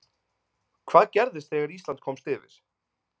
Hvað gerðist þegar Ísland komst yfir?